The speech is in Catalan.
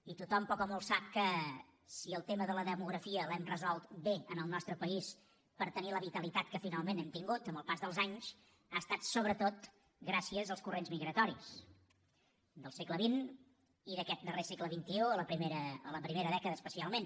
i tothom poc o molt sap que si el tema de la demografia l’hem resolt bé en el nostre país per tenir la vitalitat que finalment hem tingut amb el pas dels anys ha estat sobretot gràcies als corrents migratoris del segle xx i d’aquest darrer segle da especialment